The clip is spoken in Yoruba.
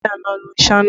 Wáyà iná ló ń sáná